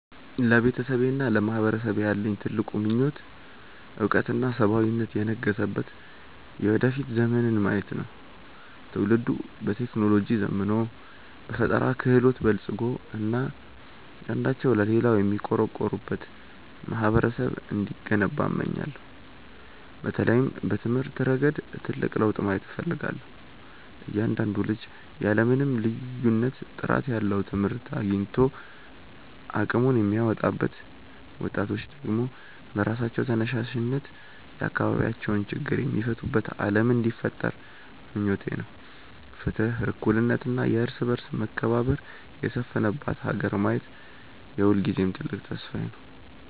ለቤተሰቤና ለማህበረሰቤ ያለኝ ትልቁ ምኞት እውቀትና ሰብአዊነት የነገሰበት የወደፊት ዘመንን ማየት ነው። ትውልዱ በቴክኖሎጂ ዘምኖ፣ በፈጠራ ክህሎት በልፅጎ እና አንዳቸው ለሌላው የሚቆረቆሩበት ማህበረሰብ እንዲገነባ እመኛለሁ። በተለይም በትምህርት ረገድ ትልቅ ለውጥ ማየት እፈልጋለሁ፤ እያንዳንዱ ልጅ ያለ ምንም ልዩነት ጥራት ያለው ትምህርት አግኝቶ አቅሙን የሚያወጣበት፣ ወጣቶች ደግሞ በራሳቸው ተነሳሽነት የአካባቢያቸውን ችግር የሚፈቱበት ዓለም እንዲፈጠር ምኞቴ ነው። ፍትህ፣ እኩልነት እና የእርስ በርስ መከባበር የሰፈነባት ሀገር ማየት የሁልጊዜም ትልቅ ተስፋዬ ነው።